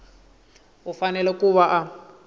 u fanele ku va a